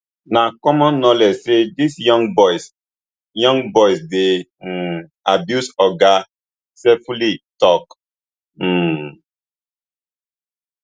na common knowledge say dis young boys young boys dey um abused oga sefuli tok um